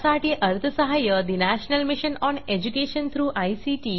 यासाठी national mission on education through I